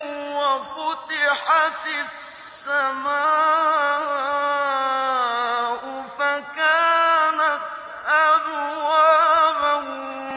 وَفُتِحَتِ السَّمَاءُ فَكَانَتْ أَبْوَابًا